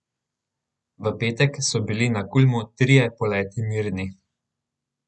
V petek so bili na Kulmu trije poleti mirni.